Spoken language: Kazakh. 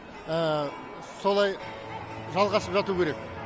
солай жалғасып жату керек